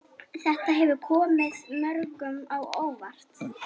Þetta hefur komið mörgum á óvart